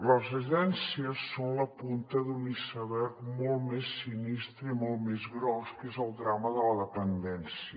les agències són la punta d’un iceberg molt més sinistre i molt més gros que és el drama de la dependència